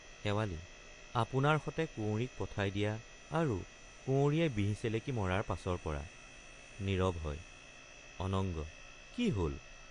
শেৱালি—আপোনাৰ সতে কুঁৱৰীক পঠাই দিয়া আৰু কুঁৱৰীয়ে বিহ চেলেকি মৰাৰ পাছৰপৰা— নীৰব হয় অনঙ্গ—কি হল।